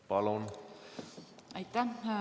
Palun!